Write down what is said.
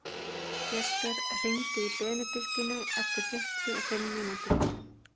Jesper, hringdu í Benediktínu eftir fimmtíu og fimm mínútur.